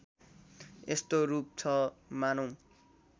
यस्तो रूप छ मानौँ